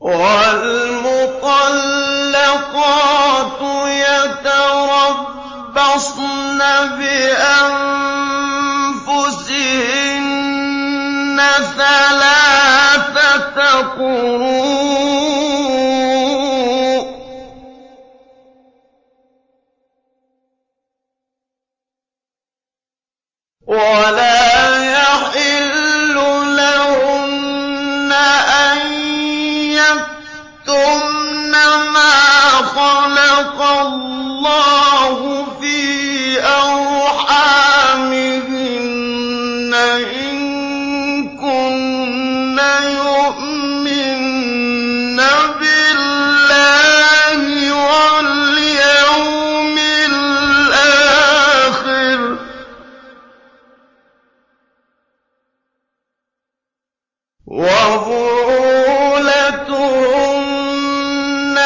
وَالْمُطَلَّقَاتُ يَتَرَبَّصْنَ بِأَنفُسِهِنَّ ثَلَاثَةَ قُرُوءٍ ۚ وَلَا يَحِلُّ لَهُنَّ أَن يَكْتُمْنَ مَا خَلَقَ اللَّهُ فِي أَرْحَامِهِنَّ إِن كُنَّ يُؤْمِنَّ بِاللَّهِ وَالْيَوْمِ الْآخِرِ ۚ وَبُعُولَتُهُنَّ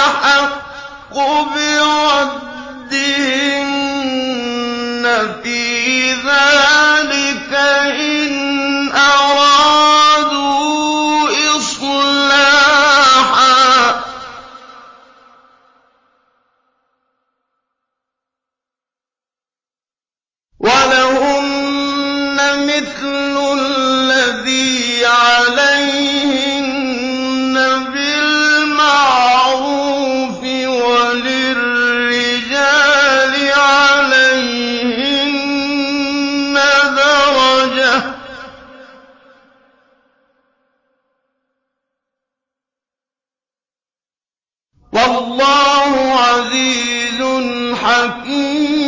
أَحَقُّ بِرَدِّهِنَّ فِي ذَٰلِكَ إِنْ أَرَادُوا إِصْلَاحًا ۚ وَلَهُنَّ مِثْلُ الَّذِي عَلَيْهِنَّ بِالْمَعْرُوفِ ۚ وَلِلرِّجَالِ عَلَيْهِنَّ دَرَجَةٌ ۗ وَاللَّهُ عَزِيزٌ حَكِيمٌ